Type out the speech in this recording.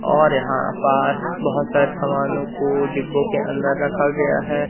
और यहां पास बहोत सारे समानों को डिब्बों के अंदर रखा गया है।